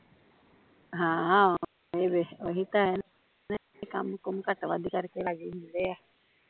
ਹਾਂ ਓਹੀ ਫਿਰ ਓਹੀ ਤਾਂ ਹੈ ਨਾਲੇ ਏਹ ਕੰਮ ਕੁਮ ਘੱਟ ਵੱਧ ਕਰ ਕੇ ਹੀਂ ਰਾਜੀ ਹੁੰਦੇ ਆ